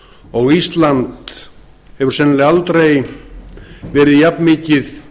og ísland hefur sennilega aldrei verið jafnmikið